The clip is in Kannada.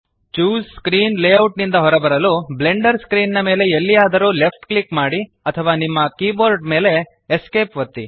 ಚೂಸ್ ಸ್ಕ್ರೀನ್ ಲೇಔಟ್ ನಿಂದ ಹೊರಬರಲು ಬ್ಲೆಂಡರ್ ಸ್ಕ್ರೀನ್ ಮೇಲೆ ಎಲ್ಲಿಯಾದರೂ ಲೆಫ್ಟ್ ಕ್ಲಿಕ್ ಮಾಡಿ ಅಥವಾ ನಿಮ್ಮ ಕೀಬೋರ್ಡ್ ಮೇಲಿನ Esc ಒತ್ತಿ